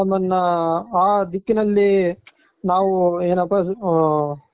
ನನ್ನ ಆ ದಿಕ್ಕಿನಲ್ಲಿ ನಾವು ಏನಪ